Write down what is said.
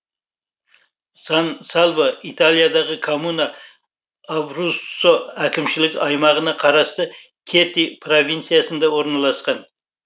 сан сальво италиядағы коммуна абруццо әкімшілік аймағына қарасты кьети провинциясында орналасқан